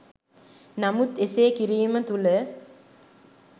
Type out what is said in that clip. නමුත් එසේ කිරීම තුළ